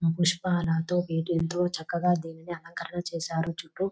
పుష్పాలతో వీటితో చక్కగా దీనిని అలంకరణ చేసారు. చుట్టు --